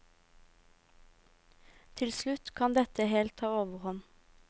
Til slutt kan dette helt ta overhånd.